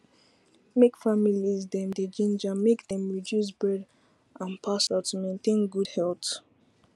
make families dem dey ginger make dem reduce bread and pasta to maintain good health